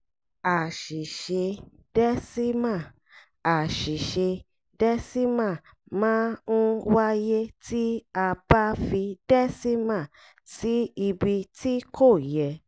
àṣìṣe dẹ́símà àṣìṣe dẹ́símà máa ń wáyé tí a bá fi dẹ́símà sí ibi tí kò yẹ.